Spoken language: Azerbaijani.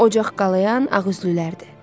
Ocaq qalayayan ağüzlülərdir.